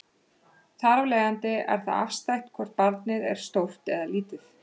Þar af leiðandi er það afstætt hvort barnið er stórt eða lítið.